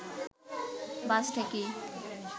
বাস থেকেই